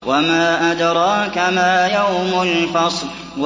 وَمَا أَدْرَاكَ مَا يَوْمُ الْفَصْلِ